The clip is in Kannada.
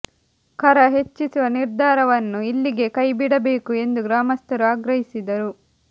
ಕರ ಹೆಚ್ಚಿಸುವ ನಿರ್ಧಾರವನ್ನು ಇಲ್ಲಿಗೇ ಕೈ ಬಿಡಬೇಕು ಎಂದು ಗ್ರಾಮಸ್ಥರು ಆಗ್ರಹಿಸಿದರು